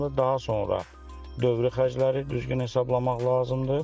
Daha sonra dövri xərcləri düzgün hesablamaq lazımdır.